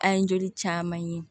An ye joli caman ye